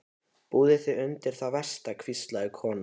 Búðu þig undir það versta, hvíslaði konan.